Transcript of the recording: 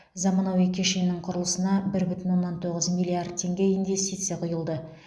заманауи кешеннің құрылысына бір бүтін оннан тоғыз миллиард теңге инвестиция құйылды